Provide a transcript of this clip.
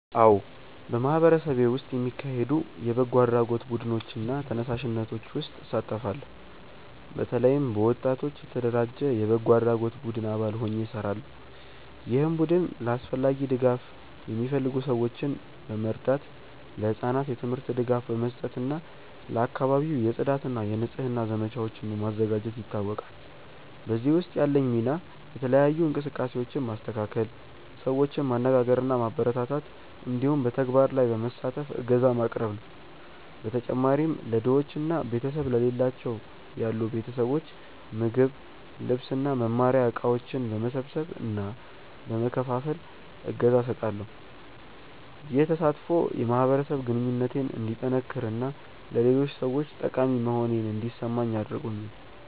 አዎ፣ በማህበረሰቤ ውስጥ የሚካሄዱ የበጎ አድራጎት ቡድኖች እና ተነሳሽነቶች ውስጥ እሳተፋለሁ። በተለይም በወጣቶች የተደራጀ የበጎ አድራጎት ቡድን አባል ሆኜ እሰራለሁ፣ ይህም ቡድን ለአስፈላጊ ድጋፍ የሚፈልጉ ሰዎችን በመርዳት፣ ለህጻናት የትምህርት ድጋፍ በመስጠት እና ለአካባቢው የጽዳት እና የንጽህና ዘመቻዎችን በማዘጋጀት ይታወቃል። በዚህ ውስጥ ያለኝ ሚና የተለያዩ እንቅስቃሴዎችን ማስተካከል፣ ሰዎችን ማነጋገር እና ማበረታታት እንዲሁም በተግባር ላይ በመሳተፍ እገዛ ማቅረብ ነው። በተጨማሪም ለድሆች እና ቤተሰብ ለሌላቸው ያሉ ቤተሰቦች ምግብ፣ ልብስ እና መማሪያ እቃዎች በመሰብሰብ እና በመከፋፈል እገዛ እሰጣለሁ። ይህ ተሳትፎ የማህበረሰብ ግንኙነቴን እንዲጠነክር እና ለሌሎች ሰዎች ጠቃሚ መሆኔን እንዲሰማኝ አድርጎኛል።